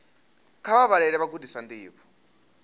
kha vha vhalele vhagudiswa ndivho